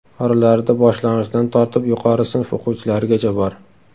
Oralarida boshlang‘ichdan tortib yuqori sinf o‘quvchilarigacha bor.